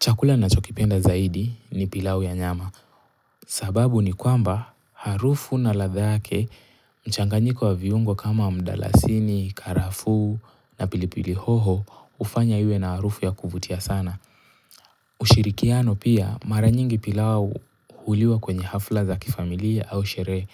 Chakula ninachokipenda zaidi ni pilau ya nyama. Sababu ni kwamba harufu na ladha yake mchanganyiko wa viungo kama mdalasini, karafuu na pilipili hoho hufanya iwe na harufu ya kuvutia sana. Ushirikiano pia mara nyingi pilau huliwa kwenye hafla za kifamilia au sherehe.